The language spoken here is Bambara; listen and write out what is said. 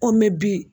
Ko mɛ bi